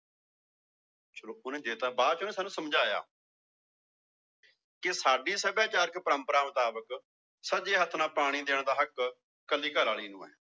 ਚਲੋ ਦੇ ਦਿੱਤਾ ਬਾਅਦ ਚ ਉਹਨੇ ਸਾਨੂੰ ਸਮਝਾਇਆ ਕਿ ਸਾਡੀ ਸਭਿਆਚਾਰਕ ਪਰੰਪਰਾ ਮੁਤਾਬਿਕ ਸੱਜੇ ਹੱਥ ਨਾਲ ਪਾਣੀ ਦੇਣ ਦਾ ਹੱਕ ਇਕੱਲੀ ਘਰ ਵਾਲੀ ਨੂੰ ਹੈ